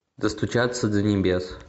достучаться до небес